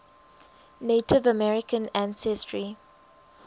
native american ancestry